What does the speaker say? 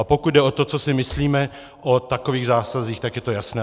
A pokud jde o to, co si myslíme o takových zásazích, tak je to jasné.